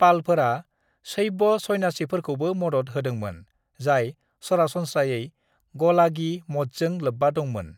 "पालफोरा शैब सन्यासिफोरखौबो मदद होदोंमोन, जाय सरासनस्रायै गलागी-मठजों लोब्बा दंमोन।"